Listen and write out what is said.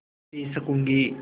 P सकँूगी